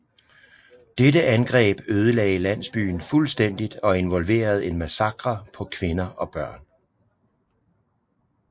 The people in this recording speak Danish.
Dette angreb ødelagde landsbyen fuldstændigt og involverede en massakre på kvinder og børn